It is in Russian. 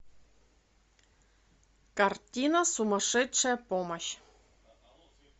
картина сумасшедшая помощь